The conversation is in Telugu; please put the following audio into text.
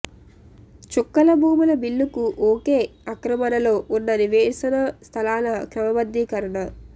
చుక్కల భూముల బిల్లుకు ఓకె ఆక్రమణలో ఉన్న నివేశన స్థలాల క్రమబద్ధీకరణ